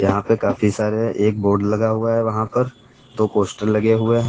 यहां पे काफी सारे एक बोर्ड लगा हुआ है वहां पर दो पोस्टर लगे हुए हैं।